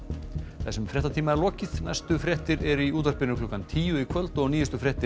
þessum fréttatíma er lokið næstu fréttir eru í útvarpi klukkan tíu í kvöld og nýjustu fréttir